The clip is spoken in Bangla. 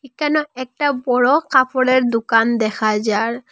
একানে একটা বড় কাপড়ের দুকান দেখা যার।